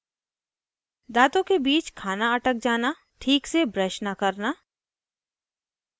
फिर वो बच्चों को cavities के कारण बताता है